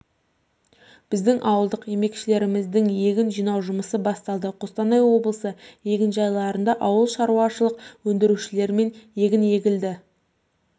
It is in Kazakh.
біздің ауылдық еңбекшілеріміздің егін жинауы жұмысы басталды қостанай облысы егінжайларында ауыл шарушылық өндірушілерімен га егін егілді